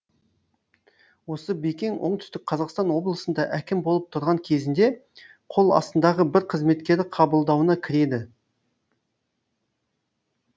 осы бекең оңтүстік қазақстан облысында әкім болып тұрған кезінде қол астындағы бір қызметкері қабылдауына кіреді